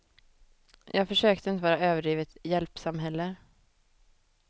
Jag försökte inte vara överdrivet hjälpsam heller.